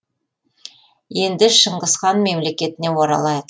енді шыңғыс хан мемлекетіне оралайық